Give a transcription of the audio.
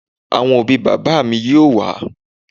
Àwọn òbí bàbá mi yóò wá